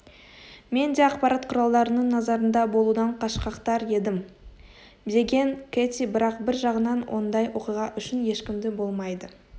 мен де ақпарат құралдарының назарында болудан қашқақтар едім деген кэти бірақ бір жағынан ондай оқиға үшін ешкімді болмайды